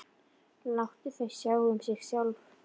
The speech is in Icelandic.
Láta þau sjá um sig sjálf.